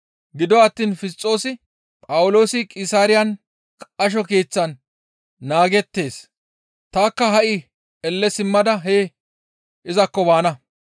Gido attiin Fisxoosi, «Phawuloosi Qisaariyan qasho keeththan naagettees; tanikka ha7i elle simmada hee izakko baana.